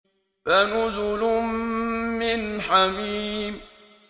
فَنُزُلٌ مِّنْ حَمِيمٍ